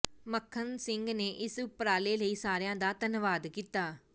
ਮੱਖਣ ਸਿੰਘ ਨੇ ਇਸ ਉਪਰਾਲੇ ਲਈ ਸਾਰਿਆਂ ਦਾ ਧੰਨਵਾਦ ਕੀਤਾ